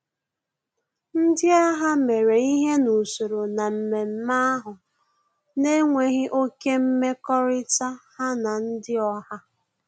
Ndị agha mere ihe n'usoro na mmemme ahụ na enweghị oké mmekọrịta ha na ndị oha